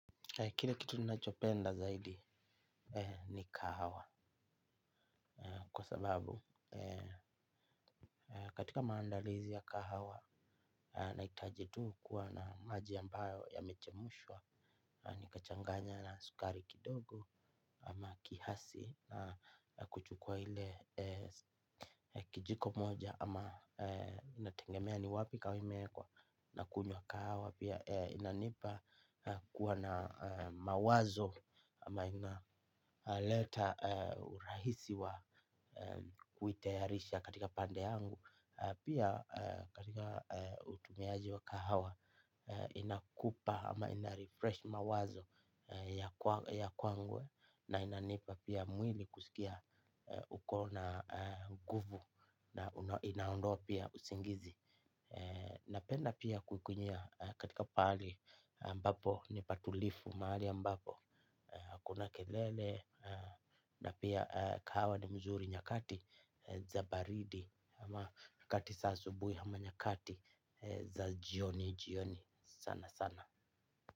Kile kitu ninachopenda zaidi ni kahawa. Kwa sababu katika maandalizi ya kahawa nahitaji tu kuwa na maji ambayo yamechemshwa. Nikachanganya na sukari kidogo. Ama kiasi na kuchukua ile kijiko moja ama inategemea ni wapi kahawa imewekwa. Na kunywa kahawa pia inanipa kuwa na mawazo. Ama inaleta urahisi wa kuitayarisha katika pande yangu. Pia katika utumiaji wa kahawa inakupa ama inarefresh mawazo ya kwangu. Na inanipa pia mwili kusikia uko na nguvu. Na inaondoa pia usingizi. Napenda pia kukunywia katika pahali ambapo ni patulivu, mahali ambapo hakuna kelele na pia kahawa ni mzuri nyakati za baridi ama nyakati asubuhi ama nyakati za jioni jioni sana sana.